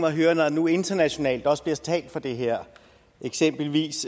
at høre når der nu internationalt også bliver talt for det her eksempelvis